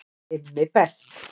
IMMI BEST